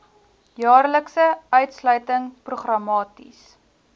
jaarlikse uitsluiting programmaties